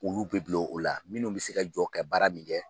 Olu bɛ bilo o la minnu bɛ se ka jɔ kɛ baara min kɛ